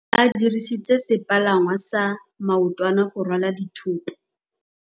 Ba dirisitse sepalangwasa maotwana go rwala dithôtô.